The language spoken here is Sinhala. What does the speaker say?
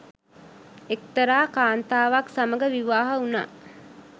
එක්තරා කාන්තාවක් සමඟ විවාහ වුනා.